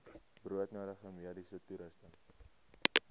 broodnodige mediese toerusting